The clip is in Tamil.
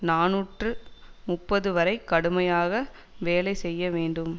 நாநூற்று முப்பது வரை கடுமையாக வேலை செய்ய வேண்டும்